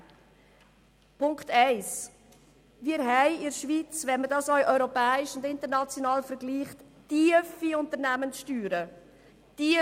Erster Punkt: Wir verlangen in der Schweiz europaweit und international vergleichsweise tiefe Unternehmenssteuern.